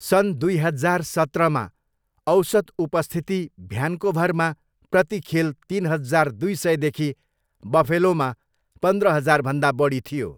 सन् दुई हजार सत्रमा, औसत उपस्थिति भ्यान्कोभरमा प्रति खेल तिन हजार दुई सयदेखि बफेलोमा पन्द्र हजारभन्दा बढी थियो।